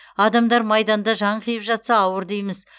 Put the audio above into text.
адамдар майданда жан қиып жатса ауыр дейміз